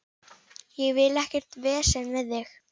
Ég vil ekkert vesen við þig.